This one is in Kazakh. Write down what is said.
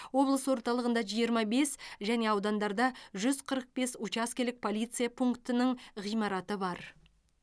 облыс орталығында жиырма бес және аудандарда жүз қырық бес учаскелік полиция пунктінің ғимараты бар